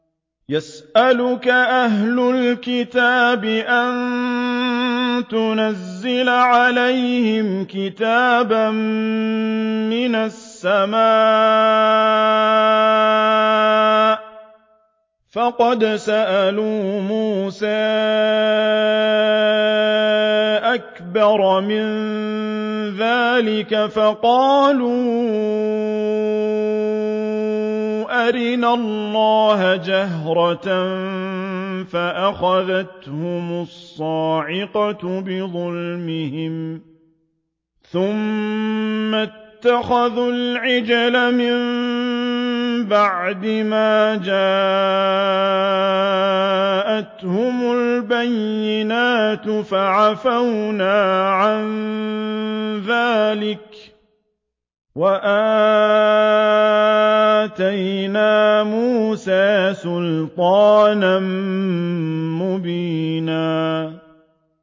يَسْأَلُكَ أَهْلُ الْكِتَابِ أَن تُنَزِّلَ عَلَيْهِمْ كِتَابًا مِّنَ السَّمَاءِ ۚ فَقَدْ سَأَلُوا مُوسَىٰ أَكْبَرَ مِن ذَٰلِكَ فَقَالُوا أَرِنَا اللَّهَ جَهْرَةً فَأَخَذَتْهُمُ الصَّاعِقَةُ بِظُلْمِهِمْ ۚ ثُمَّ اتَّخَذُوا الْعِجْلَ مِن بَعْدِ مَا جَاءَتْهُمُ الْبَيِّنَاتُ فَعَفَوْنَا عَن ذَٰلِكَ ۚ وَآتَيْنَا مُوسَىٰ سُلْطَانًا مُّبِينًا